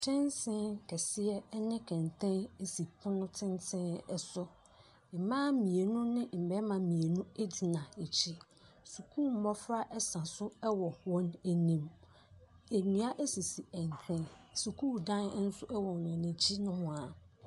Kyɛnsee kɛseɛ ɛne kɛntɛn esi pono tenten ɛso. Mmaa mmienu ne mmarima mmienu egyina akyi. Sukuu mmofra ɛsa so ɛwɔ wɔn anim. Nnua esisi ɛnkyɛn. Sukuu dan nso ɛwɔ wɔn akyi nohoaa.